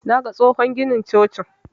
Naga tsohon ginin cocin.